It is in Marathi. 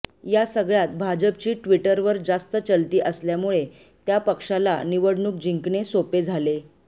या सगळय़ात भाजपची ट्विटरवर जास्त चलती असल्यामुळे त्या पक्षाला निवडणूक जिंकणे सोपे झाले